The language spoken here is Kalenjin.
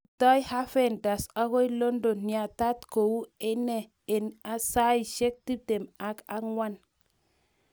Rutoi Havertz agoi London yetatat kouu inne eng saishek tiptem ak ang'wan